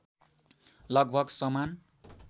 लगभग समान